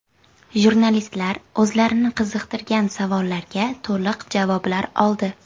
Jurnalistlar o‘zlarini qiziqtirgan savollarga to‘liq javoblar oldi.